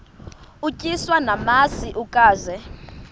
utyiswa namasi ukaze